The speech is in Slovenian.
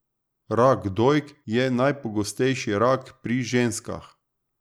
Rak dojk je najpogostejši rak pri ženskah.